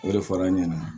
O de fɔra an ɲɛna